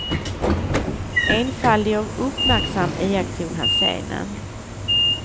Enfaldig och uppmärksam iakttog han scenen.